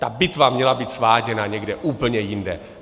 Ta bitva měla být sváděna někde úplně jinde.